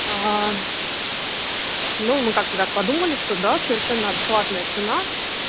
ну мы как-то так подумали что да совершенно адекватная цена